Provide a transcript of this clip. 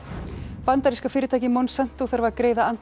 bandaríska fyrirtækið Monsanto þarf að greiða andvirði